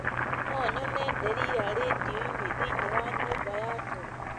no nyone delila rĩndiũ-inĩ thĩiniĩ wa nyũmb aya toro